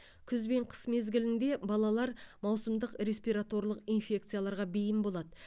күз бен қыс мезгілінде балалар маусымдық респираторлық инфекцияларға бейім болады